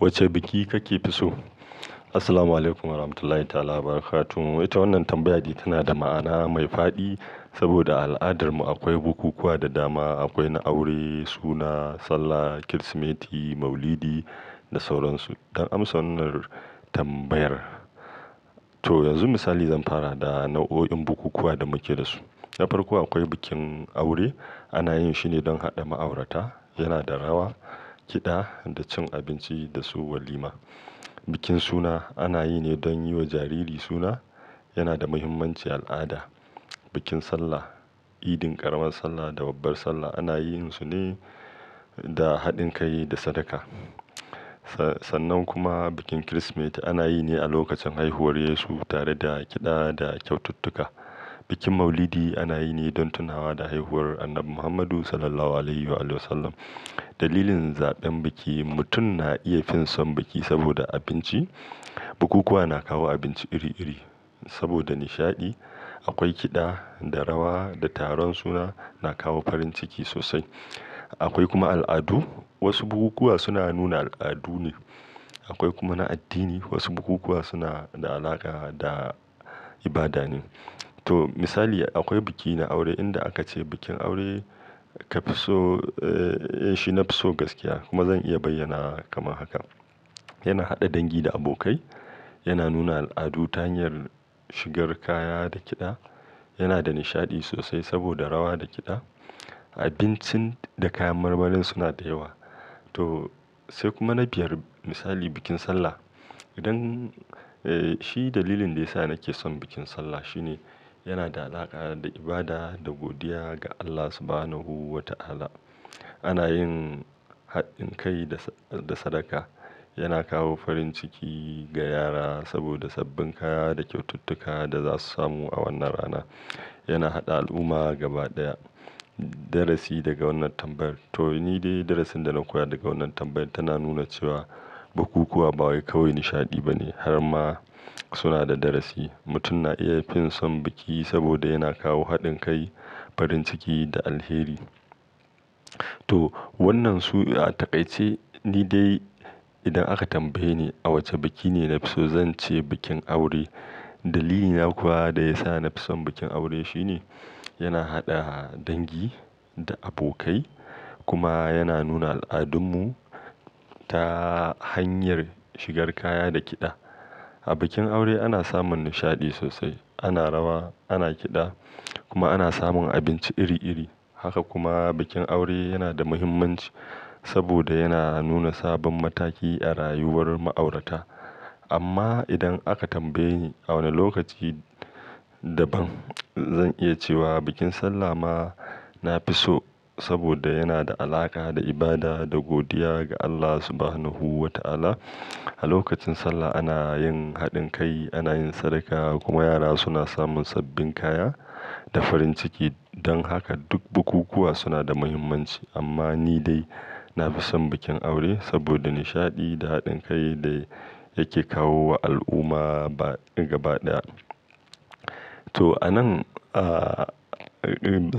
Wacce biki kake fi so? Assalamualaikum warahmatullahi ta'ala wabarakatuh. Wai ita wannan tambaya dai tana da ma'ana mai faɗi, saboda a al'adar mu akwai bukukuwa da dama. Akwai na aure, suna, Sallah, Kirismeti, Maulidi da sauran su. Don amsa wannan tambayar. To yanzu misali zan fara da nau'o'in bukukuwa da muke da su. Na farko akwai bikin aure ana yin shi ne don haɗa ma'aurata. Yana da rawa, kiɗa da cin abinci da su walima. Bikin suna ana yi ne don yi wa jariri suna. Yana da muhimmancin al'ada. Bikin Sallah, idin ƙaramar Sallah da babbar Sallah ana yin su ne da haɗin kai da sadaka. Sa-sannan kuma bikin Kirismeti ana yi ne a lokacin haihuwar Yesu tare da kiɗa da kyaututtuka. Bikin Maulidi ana yi ne don tunawa da haihuwar Annabi Muhammadu Sallallahu Alaihi Wasallam. Dalilin zaɓen biki mutum na iya fin son biki saboda abinci, bukukuwa na kawo abinci iri-iri. Saboda nishaɗi, akwai kiɗa da rawa da taron suna, na kawo farin ciki sosai. Akwai kuma al'adu, wasu bukukuwa suna nuna al'adu ne. Akwai kuma na addini, wasu bukukuwa suna da alaƙa da ibada ne. To misali akwai biki na aure inda aka ce bikin aure ka fi so, eh shi na fi so gaskiya kuma zan iya bayyana kamar haka. Yana haɗa dangi da abokai, yana nuna al'adu ta hanyar shigar kaya da kiɗa, yana da nishaɗi sosai saboda rawa da kiɗa. Abincin da kayan marmarin suna da yawa. To sai kuma na biyar misali bikin Sallah. Idan, eh shi dalilin da ya sa nake son bikin Sallah shi ne, yana da alaƙa da ibada da godiya ga Allah Subhanahu Wa Ta'ala. Ana yin haɗin kai da, da sadaka. Yana kawo farin ciki ga yara saboda sabbin kaya da kyaututtuka da za su samu a wannan rana. Yana haɗa al'umma gaba ɗaya. Darasi daga wannan tambaya. To ni dai darasin da na koya daga wannan tambaya tana nuna cewa bukukuwa ba wai kawai nishaɗi bane har ma suna da darasi. Mutum na iya fin son biki saboda yana kawo haɗin kai, farin ciki da alheri. To wannan su a taƙaice, ni dai idan aka tambaye ni a wace biki ne na fi so zan ce bikin aure. Dalili na kuwa da ya sa na fi son bikin aure shi ne, yana haɗa dangi da abokai kuma yana nuna al'adunmu ta hanyar shigar kaya da kiɗa. A bikin aure ana samun nishaɗi sosai, ana rawa, ana kiɗa kuma ana samun abinci iri-iri. Haka kuma bikin aure yana da muhimmanci saboda yana nuna sabon mataki a rayuwar ma'aurata. Amma idan aka tambaye ni a wane lokaci daban, zan iya cewa bikin Sallah ma na fi so saboda yana da alaƙa da ibada da godiya ga Allah Subhanahu Wa Ta'ala. A lokacin Sallah ana yin haɗin kai, ana yin sadaka kuma yara suna samun sabbin kaya da farin ciki. Don haka duk bukukuwa suna da muhimmanci amma ni dai na fi son bikin aure saboda nishaɗi da haɗin kai da yake kawo wa al'umma ba gaba ɗaya. To a nan, ah,